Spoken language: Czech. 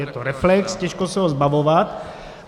Je to reflex, těžko se ho zbavovat.